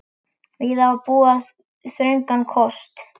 Víða var búið við þröngan kost.